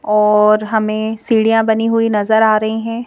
और हमें सीढ़ियां बनी हुई नजर आ रही है।